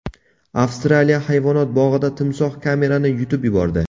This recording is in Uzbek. Avstraliya hayvonot bog‘ida timsoh kamerani yutib yubordi.